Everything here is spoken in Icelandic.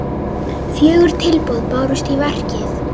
Fjögur tilboð bárust í verkið.